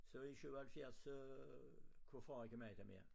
Så i 77 så kunne far ikke magte mere